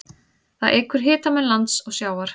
Það eykur hitamun lands og sjávar.